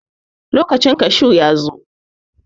Lokacin kashu yana nan.